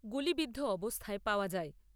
গুলিবিদ্ধ অবস্থায় পাওয়া যায়।